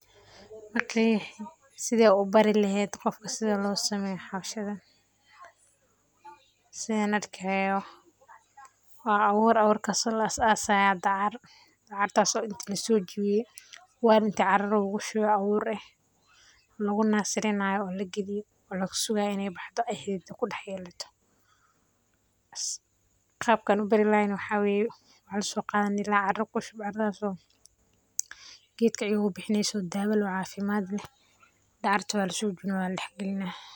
Sidee ubari lehed sida losameyo hawshadan. Sidan arkayo wa awur awurkas oo lasasayo dacar, dacaratso inti lasojawiye wel inti cara lugushube lagunasirinayo lagusugayo in ay baxdo xidida kudax yelato. Qabka an ubari lahay waxaa weye , waxan soqadi lahay inta cara kushubo caradas oo gedka igubixineyso dawo cafimadleh, dacarta walasoqadah waladax galinaah.